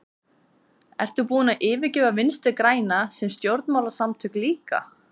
Ertu búinn að yfirgefa Vinstri-græna sem stjórnmálasamtök líka?